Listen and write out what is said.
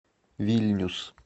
вильнюс